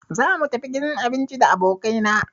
Za mu tafi gidan abinci da abokai na